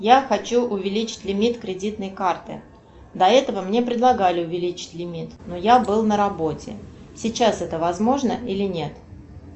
я хочу увеличить лимит кредитной карты до этого мне предлагали увеличить лимит но я был на работе сейчас это возможно или нет